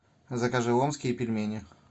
закажи омские пельмени